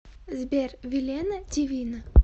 сбер вилена дивина